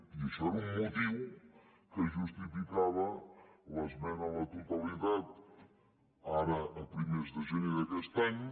i això era un motiu que justificava l’ esmena a la totalitat ara a primers de gener d’aquest any